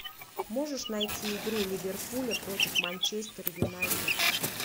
можешь найти игру ливерпуля против манчестер юнайтед